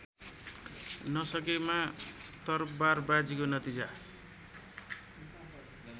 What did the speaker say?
नसकेमा तरवारबाजीको नतिजा